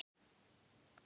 Það er súpa í honum.